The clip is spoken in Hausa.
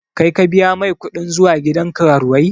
Kai ka biya mai kuɗin zuwa gidan karuwai?